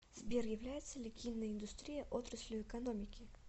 сбер является ли киноиндустрия отраслью экономики